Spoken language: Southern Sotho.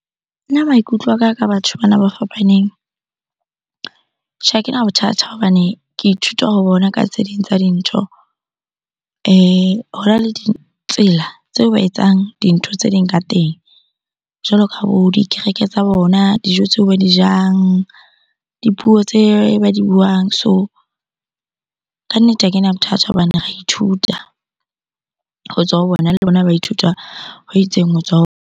Nna maikutlo a ka ka batho bana ba fapaneng. Tjhe, ha kena bothata hobane ke ithuta ho bona ka tse ding tsa dintho. Hona le ditsela tseo ba etsang dintho tse ding ka teng jwalo ka bo dikereke tsa bona, dijo tseo ba di jang, dipuo tse ba di buang. So, kannete ha kena bothata hobane ra ithuta ho tswa ho bona le bona ba ithuta ho itseng ho tswa .